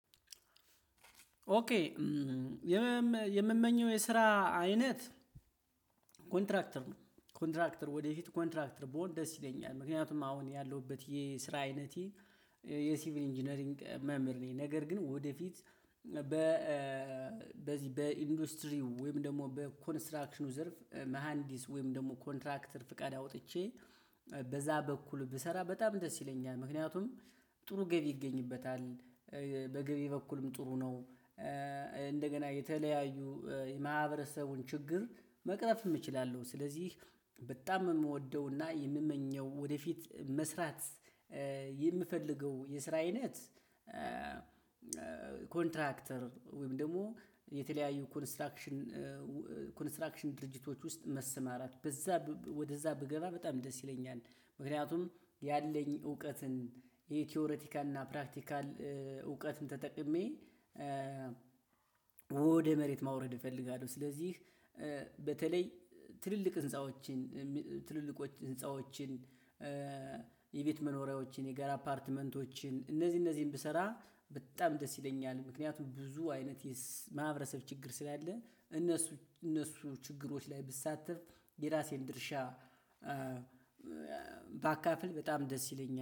ኦኬ የምመኘው የስራ አይነት ኮንትራክተር ነው ኮንትራክተር ወደፊት ኮንትራክተር ብሆን ደስ ይለኛል ምክንያቱም አሁን ያለሁበት የስራ አይነቴ የሲቪል ኢንጂነሪንግ መምህር ነኝ ነገር ግን ወደፊት በ በዚህ በኢንዱስትሪው ወይም ደግሞ በኮንስትራክሽኑ ዘርፍ መሃንዲስ ወይም ደግሞ ኮንትራክተር ፍቃድ አውጥቼ በዛ በኩል ብሰራ በጣም ደስ ይለኛል። ምክንያቱም ጥሩ ገቢ ይገኝበታል በገቢ በኩልም ጥሩ ነው። እንደገና የተለያዩ የማህበረሰቡን ችግር መቅረፍም እችላለሁ። ስለዚህ በጣም የምወደውና የምመኘው ወደፊት መስራት የምፈልገው የስራ አይነት ኮንትራክተር ወይም ደግሞ የተለያዩ ኮንስትራክሽን ኮንስትራክሽን ድርጅቶች ውስጥ መሰማራት በዛ ወደዛ ብገባ በጣም ደስ ይለኛል። ምክንያቱም ያለኝ እውቀትን የቲዎሪቲካል እና ፕራክቲካል እውቀትን ተጠቅሜ ወደ መሬት ማውረድ እፈልጋለሁ። ስለዚህ በተለይ ትልልቅ ህንፃዎችን ትልልቆች ህንፃዎችን የቤት መኖሪያዎችን የጋራ አፓርትመንቶችን እነዚህ እነዚህን ብሰራ በጣም ደስ ይለኛል ምክንያቱም ብዙ አይነት የማህበረሰብ ችግር ስላለ እነሱ እነሱ ችግሮች ላይ ብሳተፍ የራሴን ድርሻ ባካፍል በጣም ደስ ይለኛል